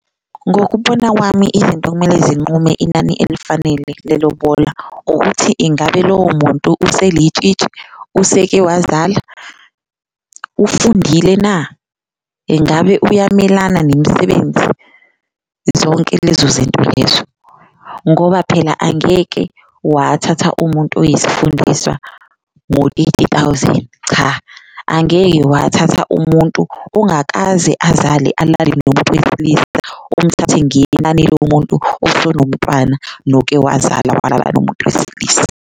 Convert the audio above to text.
Ngokubona kwami izinto okumele zinqume inani elifanele lelobola ukuthi ingabe lowo muntu uselitshitshi, useke wazala, ufundile na, engabe uyamelana nemisebenzi? Zonke lezo zinto lezo ngoba phela angeke wathatha umuntu oyisifundiswa ngo-eighty thousand, cha angeke wathatha umuntu ungakaze azale, alalele nomuntu wesilisa umthathe ngenani lomuntu osonomtwana noke wazala walala nomuntu wesilisa.